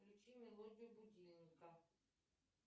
включи мелодию будильника